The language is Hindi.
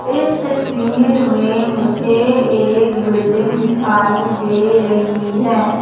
इस तस्वीर में मुझे एक बिल्डिंग दिखाई दे रही है।